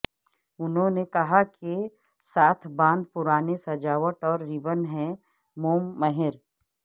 انہوں نے کہا کہ کے ساتھ باندھ پرانے سجاوٹ اور ربن ہے موم مہر